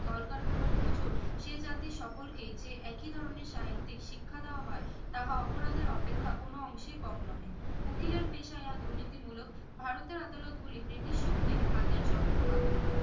কলকারখানার মজুর সে জাতির সকলকেই যে একই ধরনের সাহিত্যিক শিক্ষা দেওয়া হয় তাহা অপরাধের অপেক্ষা কোনো অংশে কম নহে উকিলের পেশায় আর দুর্নীতি মুলক ভারতের আদালত গুলি জেটির শক্তির হাতে যন্ত্র মাত্র